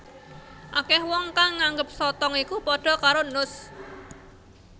Akeh wong kang nganggep sotong iku padha karo nus